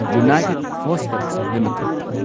united phosphorus limited